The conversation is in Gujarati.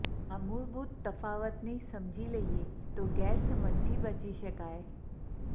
આ મૂળભૂત તફાવતને સમજી લઈએ તો ગેરસમજથી બચી શકાય